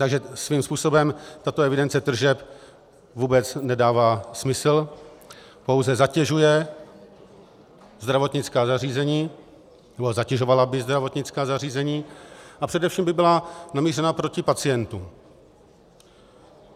Takže svým způsobem tato evidence tržeb vůbec nedává smysl, pouze zatěžuje zdravotnická zařízení, nebo zatěžovala by zdravotnická zařízení, a především by byla namířena proti pacientům.